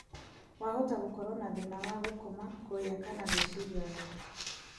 Wahota gũkoro na thĩna wa gũkoma, kũrĩa kana gwĩciria wega